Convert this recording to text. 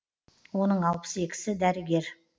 оның алпыс екісі дәрігер